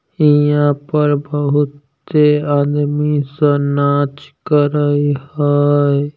यहाँ पर बहुत से आदमी सब नाच कर रहे हय।